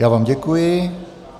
Já vám děkuji.